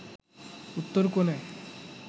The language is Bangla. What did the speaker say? উত্তর কোণে